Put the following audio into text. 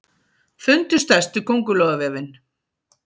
Fundu stærstu köngulóarvefinn